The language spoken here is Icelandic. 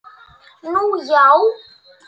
Nú, já?